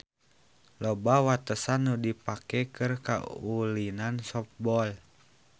Loba watesan nu dipake keur kaulinan softball.